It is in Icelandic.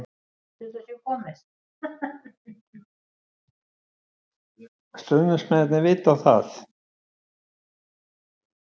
Stuðningsmennirnir vita það.